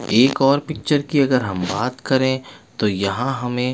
एक और पिक्चर की अगर हम बात करे तो यहाँ हमे --